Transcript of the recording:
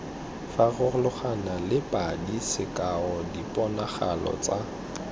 farologanale padi sekao diponagalo tsa